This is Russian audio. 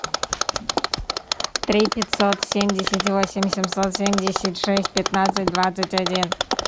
три пятьсот семьдесят восемь семьсот семьдесят шесть пятнадцать двадцать один